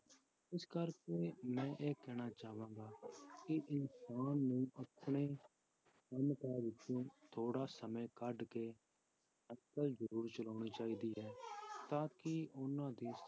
ਇਸ ਕਰਕੇ ਮੈਂ ਇਹ ਕਹਿਣਾ ਚਾਹਾਂਗਾ ਕਿ ਇਨਸਾਨ ਨੂੰ ਆਪਣੇ ਕੰਮ ਕਾਜ ਵਿੱਚੋਂ ਥੋੜ੍ਹਾ ਸਮੇਂ ਕੱਢ ਕੇ ਸਾਇਕਲ ਜ਼ਰੂਰ ਚਲਾਉਣੀ ਚਾਹੀਦੀ ਹੈ ਤਾਂ ਕਿ ਉਹਨਾਂ ਦੀ